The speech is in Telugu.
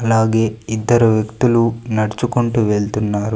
అలాగే ఇద్దరు వ్యక్తులు నడుచుకుంటూ వెళ్తున్నారు.